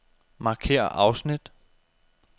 Markér afsnit.